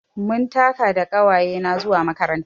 Mun taka da ƙawayena zuwa makaranta.